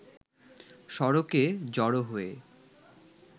সড়কে জড়ো হয়ে